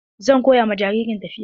Zan koya ma jaririn tafiya.